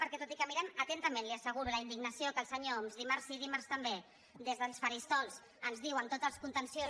perquè tot i que mirem atentament li ho asseguro la indignació que el senyor homs dimarts sí dimarts també des dels faristol ens diu amb tots els contenciosos